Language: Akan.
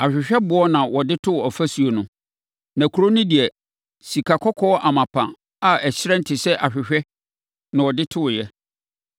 Ahwehwɛboɔ na ɔde too afasuo no. Na kuro no deɛ, sikakɔkɔɔ amapa a ɛhyerɛn te sɛ ahwehwɛ na wɔde toeɛ.